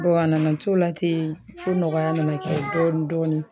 Dɔnke a nana t'o la ten fɔ nɔgɔya mana kɛ dɔɔnin dɔɔnin